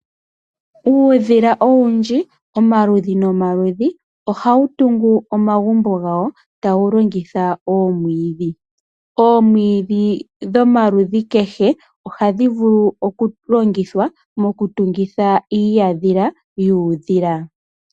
Uudhila owundji omaludhi nomaludhi, ohawu tungu omagumbo gawo tawu longitha omwiidhi. Omwiidhi dhomaludhi kehe ohadhi vulu oku longithwa mokutungitha iihadhila yuudhila.